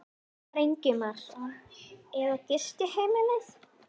Ívar Ingimarsson: Eða gistiheimilið?